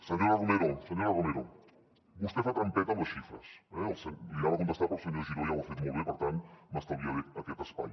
senyora romero senyora romero vostè fa trampeta amb les xifres eh li anava a contestar però el senyor giró ja ho ha fet molt bé per tant m’estalviaré aquest espai